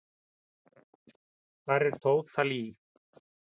Hver er Tóta Lee?